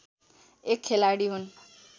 एक खेलाडी हुन्